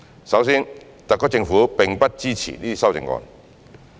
首先，特區政府並不支持這些修正案。